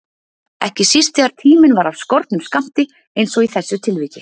Ekki síst þegar tíminn var af skornum skammti einsog í þessu tilviki.